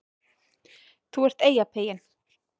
ÞÚ ERT EYJAPEYINN